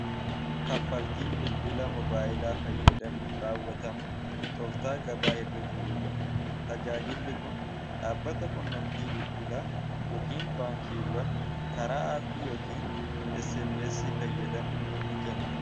kaffaltiin bilbilaa mobaayilaa fayyadamuun raawwatamu tooftaa gabaa irra jiruudha tajaajilli kun dhaabbata qunnamtii bilbilaa yookiin baankiiwwan karaa aappii yookiin smessii fayyadamuun ni kennamu